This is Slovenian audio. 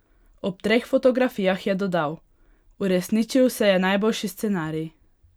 Ob treh fotografijah je dodal: "Uresničil se je najboljši scenarij.